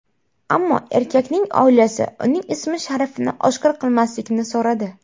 Ammo erkakning oilasi uning ism-sharifini oshkor qilmaslikni so‘radi.